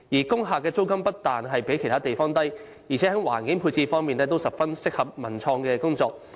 工廈租金不但比其他地方低，而且在環境配置方面也十分適合進行文化及創意工作。